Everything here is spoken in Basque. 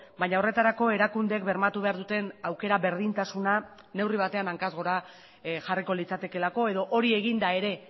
baina horretarako erakundeek bermatu behar duten aukera berdintasuna neurri batean hankaz gora jarriko litzatekeelako edo hori eginda ere